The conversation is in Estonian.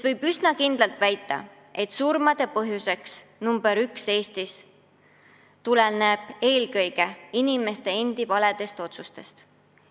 Võib nimelt üsna kindlalt väita, et surmade põhjus number üks on Eestis eelkõige inimeste endi valed otsused.